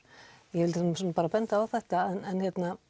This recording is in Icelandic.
ég er svo sem bara að benda á þetta en